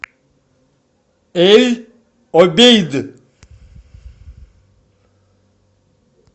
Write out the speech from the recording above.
эль обейд